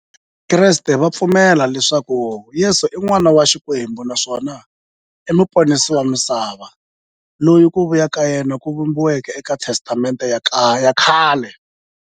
Vakreste va pfumela leswaku Yesu i n'wana wa Xikwembu naswona i muponisi wa misava, loyi ku vuya ka yena ku vhumbiweke e ka Testamente ya khale.